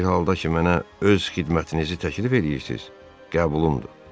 Bir halda ki, mənə öz xidmətinizi təklif eləyirsiz, qəbulumdur.